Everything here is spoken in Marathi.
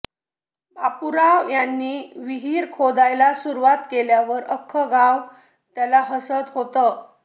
बापूराव यांनी विहीर खोदायला सुरुवात केल्यावर आख्खं गाव त्याला हसत होतं